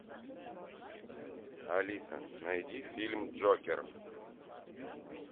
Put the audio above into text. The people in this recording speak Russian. алиса найди фильм джокер